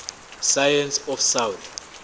science of south